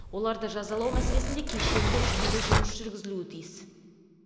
оларды жазалау мәселесінде кешенді жүйелі жұмыс жүргізілуі тиіс